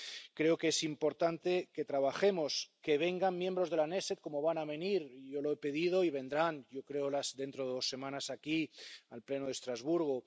Creo que es importante que trabajemos, que vengan miembros de la Knesset, como van a venir ⸺yo lo he pedido y vendrán, yo creo, dentro de dos semanas al Pleno de Estrasburgo⸺